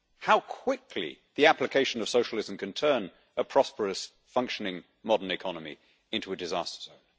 How quickly the application of socialism can turn a prosperous, functioning, modern economy into a disaster zone!